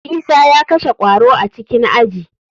Isa ya kashe kwaro a cikin aji.